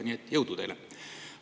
Nii et jõudu teile!